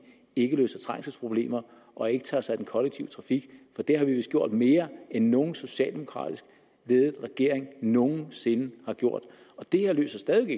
ikke løser trængselsproblemer og ikke tager sig af den kollektive trafik for det har vi vist gjort mere end nogen socialdemokratisk ledet regering nogen sinde har gjort det her løser stadig